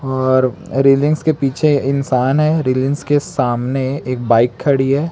और रेलिंग्स के पीछे इंसान है रेलिंग्स के सामने एक बाइक खड़ी है।